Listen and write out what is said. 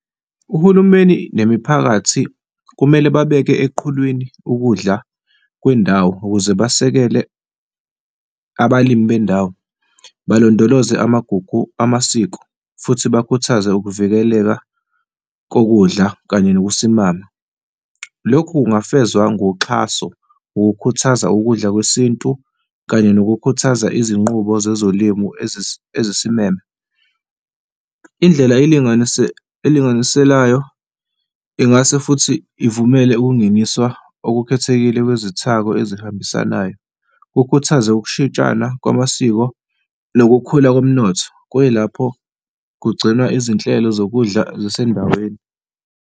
Uhulumeni nemiphakathi kumele babeke eqhulwini ukudla kwendawo ukuze basekele abalimi bendawo, balondoloze amagugu amasiko futhi bakhuthaze ukuvikeleka kokudla kanye nokusimama. Lokhu kungafezwa ngoxhaso ngokukhuthaza ukudla kwesintu kanye nokukhuthaza izinqubo zezolimo ezisimele. Indlela , elinganiselayo ingase futhi ivumele ukungeniswa okukhethekile kwezithako ezihambisanayo, kukhuthaze ukushintshana kwamasiko lokukhula komnotho, kuyilapho kugcinwa izinhlelo zokudla zasendaweni.